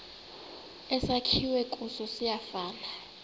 esakhiwe kuso siyafana